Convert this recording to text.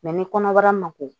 ni kɔnɔbara ma ko